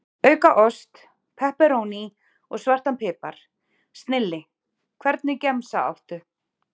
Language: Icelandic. Auka ost, pepperóní og svartan pipar, snilli Hvernig gemsa áttu?